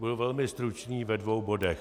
Budu velmi stručný ve dvou bodech.